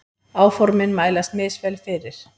Áformin mælast misvel fyrir.